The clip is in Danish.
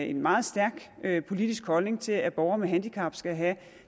en meget stærk politisk holdning til at borgere med handicap skal have